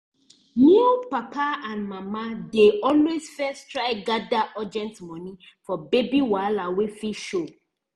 new papa and mama dey always first try gather urgent moni for baby wahala wey fit show